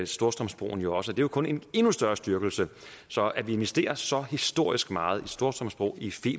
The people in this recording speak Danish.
storstrømsbroen også og det er kun en endnu større styrkelse så at vi investerer så historisk meget i storstrømsbroen i